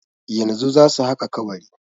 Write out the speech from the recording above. Yanzu zasu haƙa kabari.